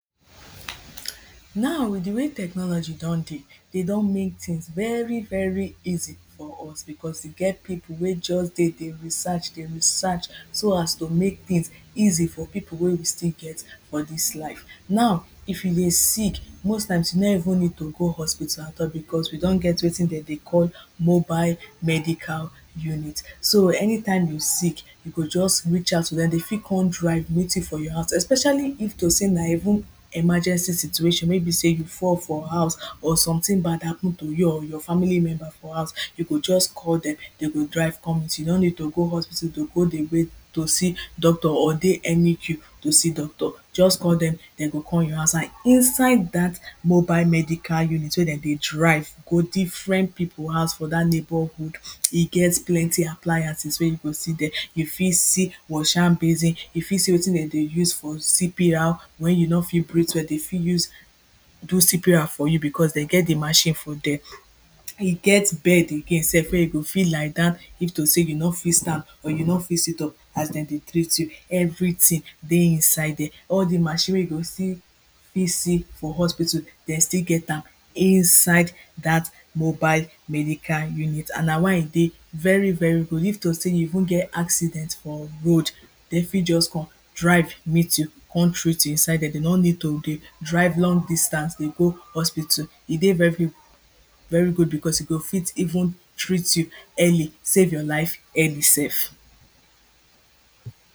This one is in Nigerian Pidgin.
Now with di way technology don dey, de don mek things very very easy for us, becos e get pipo wey just dey dey research, dey research so as to mek things easy for pipo wey we still get for dis life. Now if you dey sick most times you no even need to go hospital at all becos we don get wetin de dey call mobile medical unit, so anytime you sick you go just reach out to dem, dey fit come drive meet you for your house especially if to sey na even emergency situation may be sey you fall for house or something bad happen to you or your family member for house, you go just call dem dey go drive come meet you, you no need to go hospital to go dey wait to see doctor or dey any queue to see doctor. Just call dem dey go come your house and inside dat mobile medical unit wey de dey drive go different people house for dat neighborhood, e get plenty appliances wey you go see dere, you fit see washhand basin, you fit see wetin de dey use for CPR when you no fit breath well, dey fit use do CPR for you becos dey get di machine for dere. E get bed again sef wey you go fit lie down if to sey you no fit stand or you no fit sit up as de dey treat you, everything dey inside dere. All di machine wey you still fit see for hospital dey still get am inside dat mobile medical unit and na why e dey very very good. If to say you even get accident for road, dey fit just come drive meet you come treat you inside dere dey no need to dey drive long distance dey go hospital. E dey very good becos e go fit even treat you early, save your life early sef.